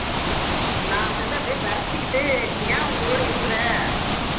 நான் வந்து அப்படியே விரைச்சுக்கிட்டு நீ ஏன் உயிரோட இருக்கிற